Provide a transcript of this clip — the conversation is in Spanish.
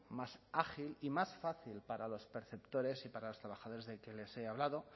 más ágil y más fácil para los perceptores y para los trabajadores que les he hablado